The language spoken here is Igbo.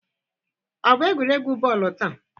Ọ bụ egwuregwu bọọlụ taa?